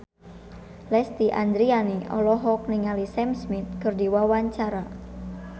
Lesti Andryani olohok ningali Sam Smith keur diwawancara